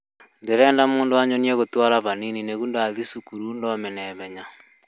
Ndĩrenda mũndũ anyonie gũtwara hanini nĩguo ndathii thukuru thome naihenya